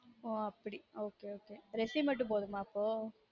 ஒ அப்டி ok ok resume மட்டும் போதுமா அப்போ